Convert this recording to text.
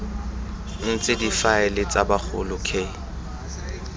ntse difaele tsa bagolo k